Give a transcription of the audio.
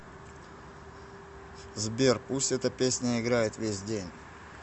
сбер пусть эта песня играет весь день